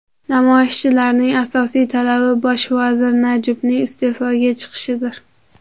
Namoyishchilarning asosiy talabi bosh vazir Najibning iste’foga chiqishidir.